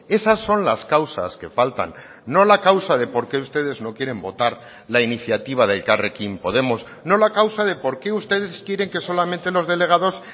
esas son las causas que faltan no la causa de por qué ustedes no quieren votar la iniciativa de elkarrekin podemos no la causa de por qué ustedes quieren que solamente los delegados